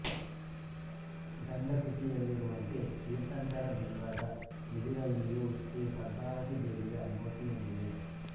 ಗಂಧಕುಟಿಯಲ್ಲಿರುವಂತೆ ತೀರ್ಥಂಕರ ಬಿಂಬದ ಎದುರಲ್ಲಿಯೂ ಶ್ರೀ ಪದ್ಮಾವತಿ ದೇವಿಯ ಮೂರ್ತಿಯೊಂದಿದೆ